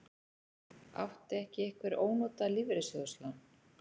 Átti ekki einhver ónotað lífeyrissjóðslán?